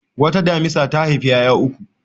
Wata damisa ta haifi ƴaƴa uku.